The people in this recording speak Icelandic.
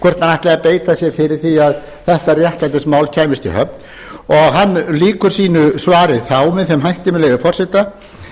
ætlaði að beita sér fyrir því að þetta réttlætismál kæmist í höfn hann lýkur sínu svari þá með þeim hætti með leyfi forseta